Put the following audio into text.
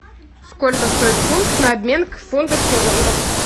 сколько стоит фунт на обмен к фунту стерлингов